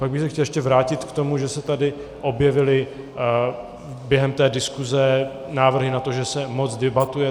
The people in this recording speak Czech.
Pak bych se chtěl ještě vrátit k tomu, že se tady objevily během té diskuse návrhy na to, že se moc debatuje.